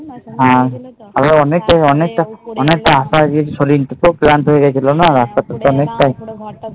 হ্যাঁ আরো অনেক তো অনেক তা তো গিয়েছো না